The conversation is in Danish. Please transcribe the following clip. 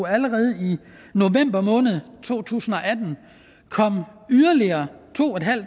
allerede i november to tusind og atten kom yderligere to